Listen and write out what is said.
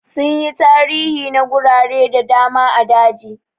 Sun yi tarihi na gurare da dama a aji.